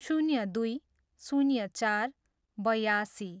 शून्य दुई, शून्य चार, बयासी